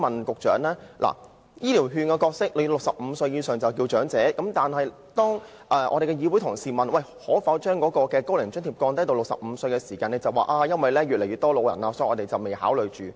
局長，在派發"醫療券"方面 ，65 歲以上長者已能受惠，但當會內同事提出可否把"高齡津貼"下調至65歲時，局長卻表示因為長者的數目越來越多，所以政府暫不考慮。